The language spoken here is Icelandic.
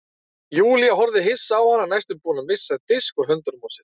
Júlía horfði hissa á hana næstum búin að missa disk úr höndunum á sér.